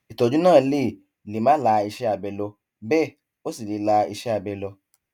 ìtọjú náà lè lè má la iṣẹ abẹ lọ bẹẹ ó sì lè la iṣẹ abẹ lọ